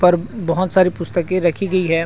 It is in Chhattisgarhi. पर बहुत साड़ी पुस्तके रखी गई है ।